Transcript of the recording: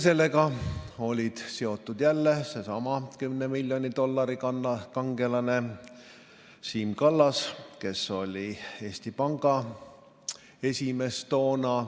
Selle juhtumiga oli seotud jälle sellesama 10 miljoni dollari kangelane Siim Kallas, kes oli toona Eesti Panga esimees.